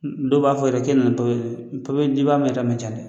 N dɔw b'a fɔ yɛrɛ k'e nana ni , n dibaa ma ca ma ca dɛ.